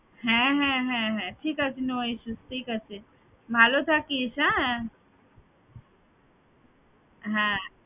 হ্যাঁ হ্যাঁ হ্যাঁ হ্যাঁ ঠিক আছে no issues ঠিক আছে ভালো থাকিস হ্যাঁ হ্যাঁ